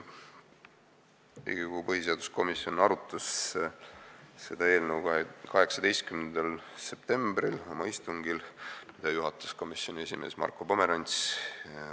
Riigikogu põhiseaduskomisjon arutas seda eelnõu 18. septembril oma istungil, mida juhatas komisjoni esimees Marko Pomerants.